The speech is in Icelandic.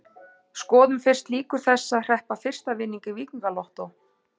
Skoðum fyrst líkur þess að hreppa fyrsta vinning í Víkingalottó.